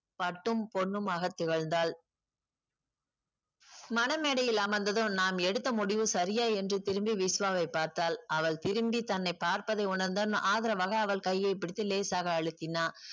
பட்டும் பொன்னும்மாக திகழ்ந்தாள் மணமேடையில் அமர்ந்ததும் நாம் எடுத்த முடிவு சரியா என்று திரும்பி விஷ்வாவை பார்த்தால் அவள் திரும்பி தன்னை பார்ப்பதை உணர்ந்தான் ஆதரவாக அவள் கையை பிடித்து லேசாக அழுத்தினான்